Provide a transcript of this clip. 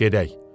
Gedək.